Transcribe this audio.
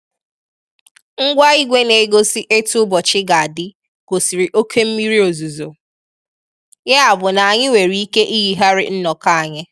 Ngwa ígwè na-egosi etu ụbọchi ga-adị gosiri óké mmiri ozuzo, ya bụ na anyị nwere ike iyighari nnọkọ anyị